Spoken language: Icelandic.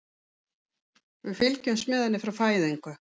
Við fylgjumst með henni frá fæðingu.